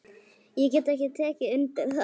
Ég get tekið undir það.